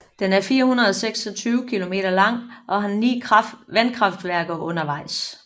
Den er 426 kilometer lang og har ni vandkraftværker undervejs